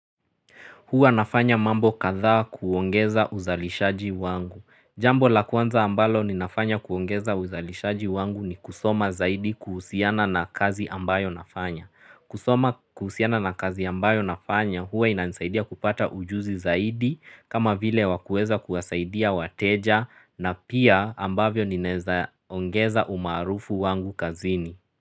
Huwa nafanya mambo katha kuongeza uzalishaji wangu. Jambo la kwanza ambalo ni nafanya kuongeza uzalishaji wangu ni kusoma zaidi kuhusiana na kazi ambayo nafanya. Kusoma kuhusiana na kazi ambayo nafanya huwa ina nisaidia kupata ujuzi zaidi kama vile wakueza kuwasaidia wateja na pia ambavyo ninaezaongeza umarufu wangu kazini.